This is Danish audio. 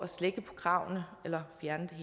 slække på kravene eller fjerne dem